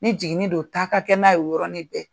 Ni jigin don ta ka kɛ n'a ye o yɔrɔnɔni bɛ.